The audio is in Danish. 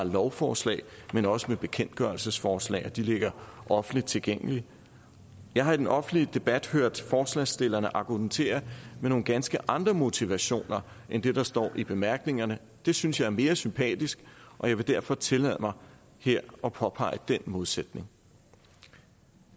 lovforslag men også bekendtgørelsesforslag og de ligger offentligt tilgængeligt jeg har i den offentlige debat hørt forslagsstillerne argumentere med nogle ganske andre motivationer end det der står i bemærkningerne det synes jeg er mere sympatisk og jeg vil derfor her tillade mig at påpege den modsætning